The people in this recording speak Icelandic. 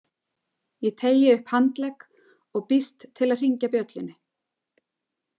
Ég teygi upp handlegg og býst til að hringja bjöllunni.